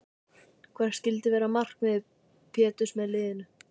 Hvert skyldi vera markmið Péturs með liðinu?